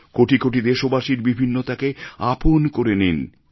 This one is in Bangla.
কোটি কোটি দেশবাসীর বিভিন্নতাকে আপন করে নিন